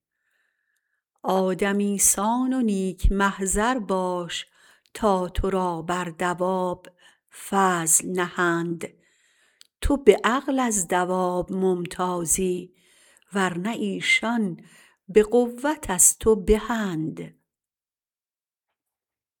آدمی سان و نیک محضر باش تا تو را بر دواب فضل نهند تو به عقل از دواب ممتازی ورنه ایشان به قوت از تو بهند